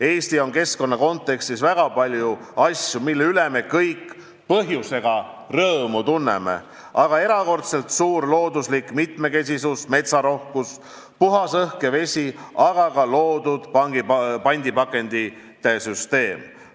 Eestis aga on keskkonna kontekstis väga palju asju, mille üle me kõik põhjusega rõõmu tunneme, nagu erakordselt suur looduslik mitmekesisus, metsarohkus, puhas õhk ja vesi, aga ka loodud pandipakendite süsteem.